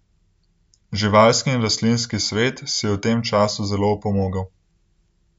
Živalski in rastlinski svet si je v tem času zelo opomogel.